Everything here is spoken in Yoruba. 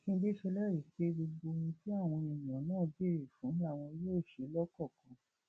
mákindé ṣèlérí pé gbogbo ohun tí àwọn èèyàn náà béèrè fún làwọn yóò ṣe lọkọọkan